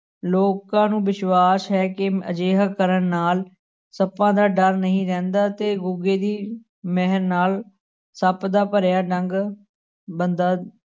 ਲੋਕਾਂ ਨੂੰ ਵਿਸ਼ਵਾਸ ਹੈ ਕਿ ਅਜਿਹਾ ਕਰਨ ਨਾਲ ਸੱਪਾਂ ਦਾ ਡਰ ਨਹੀਂ ਰਹਿੰਦਾ ਤੇ ਗੁੱਗੇ ਦੀ ਮਹਿ ਨਾਲ ਸੱਪ ਦਾ ਭਰਿਆ ਡੰਗ ਬੰਦਾ